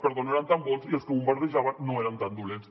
perdó no eren tan bons i els que bombardejaven no eren tan dolents